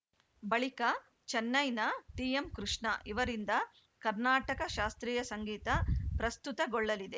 ಬಳಿಕ ಚೆನ್ನೈನ ಟಿಎಂಕೃಷ್ಣ ಇವರಿಂದ ಕರ್ನಾಟಕ ಶಾಸ್ತ್ರೀಯ ಸಂಗೀತ ಪ್ರಸ್ತುತಗೊಳ್ಳಲಿದೆ